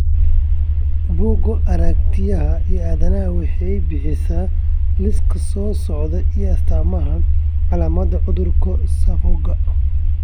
Bugga Aaragtiyaha Aadanaha waxay bixisaa liiska soo socda ee astamaha iyo calaamadaha cudurka SAPHOGA.